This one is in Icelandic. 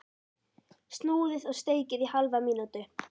Snúið og steikið í hálfa mínútu.